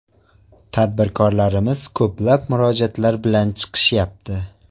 Tadbirkorlarimiz ko‘plab murojaatlar bilan chiqishyapti.